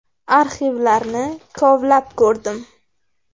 Arxivlarni kovlab ko‘rdim.